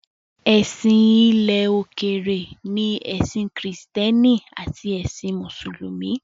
Èsìn ilẹ̀ òkèrè ni ẹ̀sìn kìrìsìtẹ́nì àti ẹ̀sìn mùsùlùmí.